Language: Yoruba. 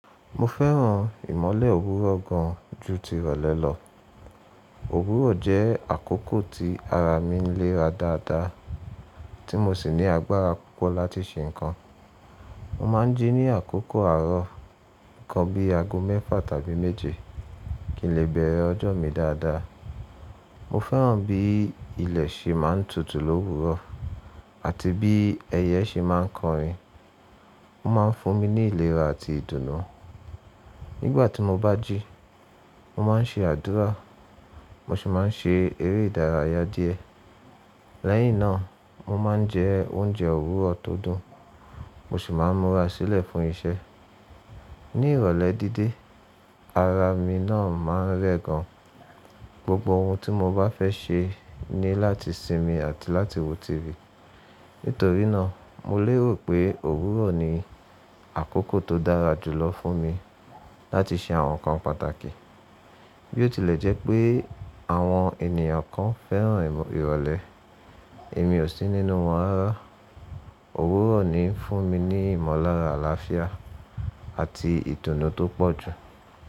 Mo fẹ́ràn ìmọ́lẹ̀ òwúrọ̀ gan jú ti ìrọ̀lẹ́ lọ. Òwúrọ̀ jẹ́ àkókò tí ara mi ń léera dáadáa tí mo sì ní agbára púpọ̀ láti ṣe nnkan. Mo máa ń jí ní àkókò àárọ̀, nǹkan bí ago mẹ́fà tàbí méje kí n lè bẹ̀rẹ̀ ọjọ́ mi dáadáa. Mo fẹ́ràn bí ilẹ̀ ṣe máa ń tutù l'òwúrọ̀ àti bí ẹyẹ ṣe máa ń kọrin. Ó máa ń fún mi ní ìlera àti ìdùnnú. Nígbà tí mo bá jí, mo máa ń ṣe àdúrà, mo sì máa ń ṣe eré ìdárayá díẹ̀. Lẹ́yìn náà, mo máa ń jẹ oúnjẹ Òwúrọ̀ tó dùn, mo sì máa ń múra sílẹ̀ fún iṣẹ́. Ní ìrọ̀lẹ́ díde, ara mi náà máa ń rẹ̀ gan. Gbogbo ohun tí mo bá fẹ́ ṣe ni láti sinmi àti láti wo TV. Nítorí náà, mo lérò pé Òwúrọ̀ ni àkókò tó dára jùlọ fún mi láti ṣe àwọn nǹkan pàtàkì. Bí ó tilẹ̀ jẹ́ pé àwọn ènìyàn kan fẹ́ràn ìrọ̀lẹ́, èmi ò sí nínú wọ́n rara. Òwúrọ̀ ni ń fún mi ní ìmọ̀lára àlàáfíà àti ìdùnnú tó pọ̀ jù.